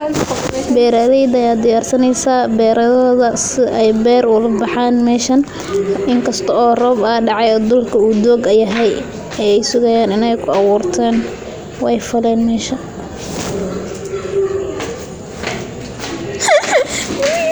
Beraleyda aya diyarsaneysa, beradaxoda sidha ay ber oga baxan meshan, inkasto oo roob a dacay oo durka u doog yaxay, ayy sugayan in kuawurtan, way faleen mesha.